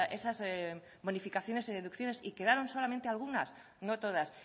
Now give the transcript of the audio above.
esas bonificaciones y deducciones y quedaron solamente algunas no todas